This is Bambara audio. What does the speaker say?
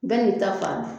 Bɛɛ n'i ta fan